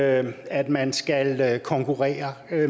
at at man skal konkurrere